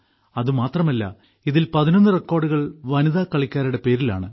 അത് മാത്രമല്ല ഇതിൽ 11 റെക്കോർഡുകൾ വനിതാ കളിക്കാരുടെ പേരിലാണ്